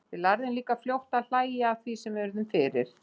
Við lærðum líka fljótt að hlæja að því sem við urðum fyrir.